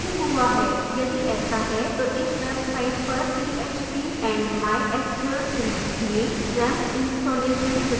यदि ऐसा है तो इस website पर php and mysql series में xampp installation tutorial देखें